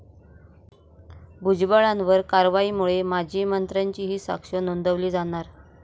भुजबळांवर कारवाईमुळे माजी मंत्र्यांचीही साक्ष नोंदवली जाणार